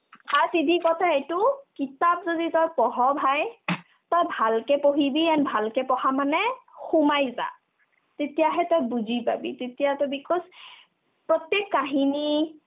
first seedhi কথা এইতো কিতাপ যদি তই পঢ় bhai তই ভালকে পঢ়িবি and ভালকে পঢ়া মানে সোমাই যা তেতিয়াহে তই বুজি পাবি তেতিয়া তই because প্ৰত্যেক কাহিনী